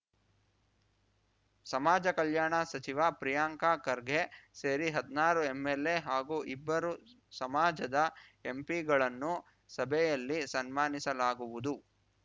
ಸಮಾಜ ಕಲ್ಯಾಣ ಸಚಿವ ಪ್ರಿಯಾಂಕ ಖರ್ಗೆ ಸೇರಿ ಹದ್ನಾರು ಎಂಎಲ್‌ಎ ಹಾಗೂ ಇಬ್ಬರು ಸಮಾಜದ ಎಂಪಿಗಳನ್ನು ಸಭೆಯಲ್ಲಿ ಸನ್ಮಾನಿಸಲಾಗುವುದು